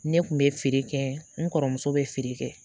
Ne kun bɛ feere kɛ n kɔrɔmuso bɛ feere kɛ